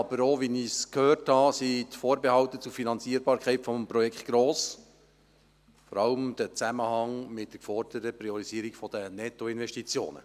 Wie ich aber auch gehört habe, sind die Vorbehalte zur Finanzierung des Projekts gross, vor allem im Zusammenhang mit der geforderten Priorisierung der Nettoinvestitionen.